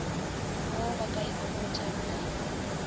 wo ba ka ikhomotšago ka